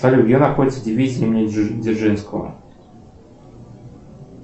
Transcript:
салют где находится дивизия имени дзержинского